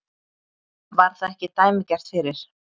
Var það ekki dæmigert fyrir